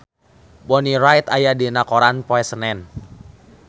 Bonnie Wright aya dina koran poe Senen